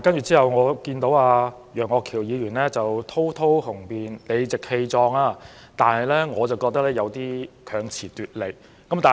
之後我又聽到楊岳橋議員在發言時雄辯滔滔、理直氣壯，但卻認為他有點強詞奪理。